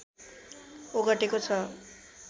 ओगटेको छ